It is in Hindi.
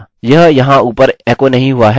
यह यहाँ ऊपर एको नहीं हुआ है